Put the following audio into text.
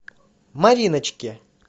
мариночке